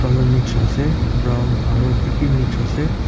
colour mix ase brown aru ki ki mix ase.